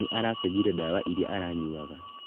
Nĩ aracĩnjĩirio ndawa iria aranyuaga.